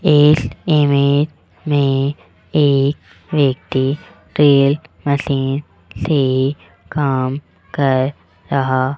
इस इमेज में एक व्यक्ति ड्रिल मशीन से काम कर रहा --